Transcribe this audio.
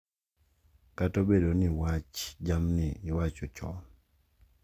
Kata obedo ni wach jamnigi iwacho chon,